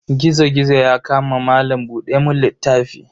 Gizo-gizo ya kama malam buɗe mun littafi.